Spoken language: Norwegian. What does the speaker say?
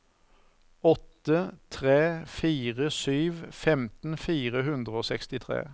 åtte tre fire sju femten fire hundre og sekstitre